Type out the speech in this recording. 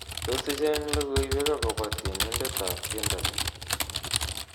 Tos icheng logoiwek akobo tienindetab tiendo ni